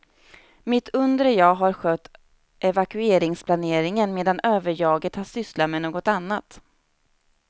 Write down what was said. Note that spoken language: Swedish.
Mitt undre jag har skött evakueringsplaneringen medan överjaget har sysslat med något annat.